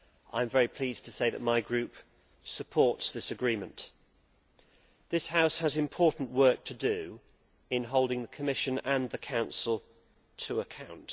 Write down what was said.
I am very pleased to say that my Group supports this agreement. This House has important work to do in holding the Commission and the Council to account.